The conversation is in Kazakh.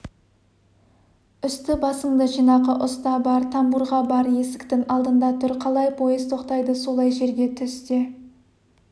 үсті-басыңды жинақы ұста бар тамбурға бар есіктің алдында тұр қалай пойыз тоқтайды солай жерге түс те